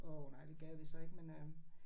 Åh nej det gad vi så ikke men øh